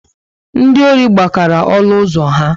Ndị ọri gbakara olu ụzọ ha